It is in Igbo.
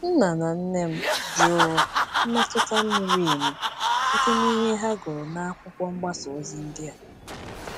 Nna na nne m jụrụ mmetụta miri emi site n’ ihe ha gụrụ na akwụkwọ mgbasa ozi ndị a.